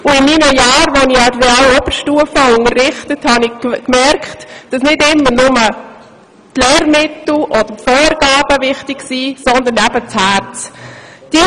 In den Jahren, in welchen ich an der Real- und Oberstufe unterrichtet habe, habe ich gemerkt, dass nicht immer nur die Lehrmittel oder die Vorgaben wichtig sind, sondern ebenso das Herz.